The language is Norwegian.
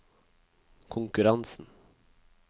konkurransen